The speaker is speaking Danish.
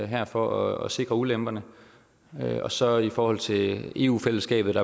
her for at sikre ulemperne så i forhold til eu fællesskabet